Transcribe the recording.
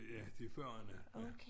Ja det 40'erne ja